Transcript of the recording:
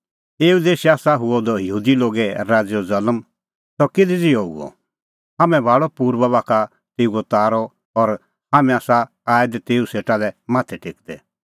एऊ देशै आसा हुअ द यहूदी लोगे राज़ैओ ज़ल्म सह किधी ज़िहअ हुअ हाम्हैं भाल़अ पुर्बा बाखा तेऊओ तारअ और हाम्हैं आसा आऐ दै तेऊ सेटा माथै टेकदै